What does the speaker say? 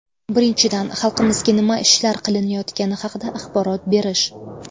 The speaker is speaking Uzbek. Birinchidan, xalqimizga nima ishlar qilinayotgani haqida axborot berish.